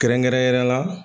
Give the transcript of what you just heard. Kɛrɛnkɛrɛnnenya la